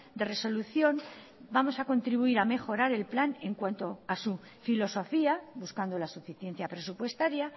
de resolución vamos a contribuir a mejorar el plan en cuanto a su filosofía buscando la suficiencia presupuestaria